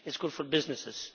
It is good for businesses.